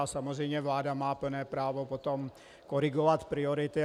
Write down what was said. A samozřejmě vláda má plné právo potom korigovat priority.